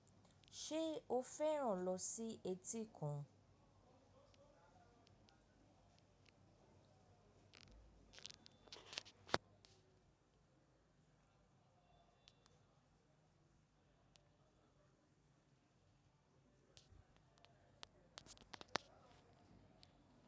Ṣé o fẹ́ràn lọ sí etíkun?